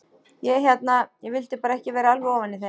Ég hérna. ég vildi bara ekki vera alveg ofan í þeim.